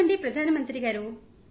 నమస్కారం ప్రధాన మంత్రిగారూ